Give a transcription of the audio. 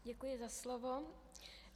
Děkuji za slovo.